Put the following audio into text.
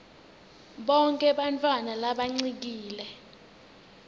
bonkhe bantfwana labancikile